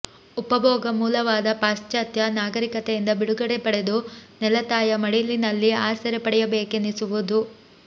ಉಪಭೋಗ ಮೂಲವಾದ ಪಾಶ್ಚಾತ್ಯ ನಾಗರಿಕತೆಯಿಂದ ಬಿಡುಗಡೆ ಪಡೆದು ನೆಲತಾಯ ಮಡಿಲಿನಲ್ಲಿ ಆಸರೆ ಪಡೆಯಬೇಕೆನ್ನಿಸುವುದು